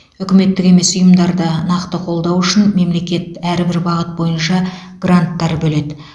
үкіметтік емес ұйымдарды нақты қолдау үшін мемлекет әрбір бағыт бойынша гранттар бөледі